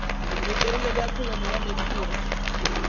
botelele bja kholomo ya mekhuri